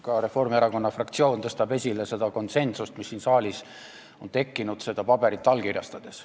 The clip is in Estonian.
Ka Reformierakonna fraktsioon tõstab esile seda konsensust, mis siin saalis on tekkinud seda paberit allkirjastades.